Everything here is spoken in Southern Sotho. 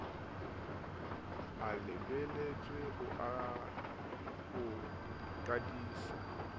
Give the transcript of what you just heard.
a lebelletsweng a ho qadisa